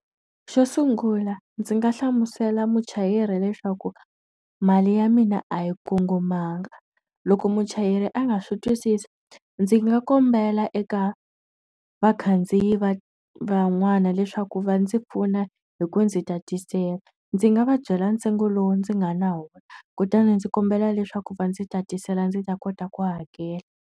Xo sungula ndzi nga hlamusela muchayeri leswaku mali ya mina a yi kongomanga. Loko muchayeri a nga swi twisisi, ndzi nga kombela eka vakhandziyi van'wana leswaku va ndzi pfuna hi ku ndzi tatisela. Ndzi nga va byela ntsengo lowu ndzi nga na wona kutani ndzi kombela leswaku va ndzi tatisela ndzi ta kota ku hakela.